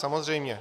Samozřejmě.